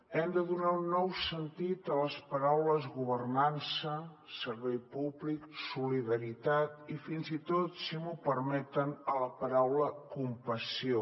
hem de donar un nou sentit a les paraules governança servei públic solidaritat i fins i tot si m’ho permeten a la paraula compassió